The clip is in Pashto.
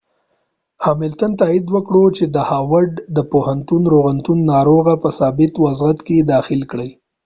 هاملتن تائید کړه چې د هاورد د پوهنتون روغتون ناروغ په ثابت وضعیت کې داخل کړی